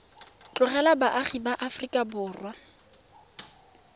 ba duelang kwa lekaleng la